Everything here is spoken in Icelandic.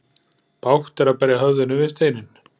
Bágt er að berja höfðinu við steinninn.